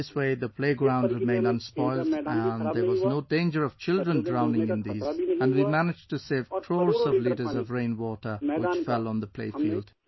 This way the play ground remained unspoilt and there was no danger of children drowning in these... and we managed to save crores of litres of rainwater which fell on the playfield